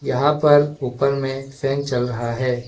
यहां पर ऊपर में फैन चल रहा है।